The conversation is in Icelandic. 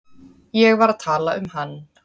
Ég var að tala um hann.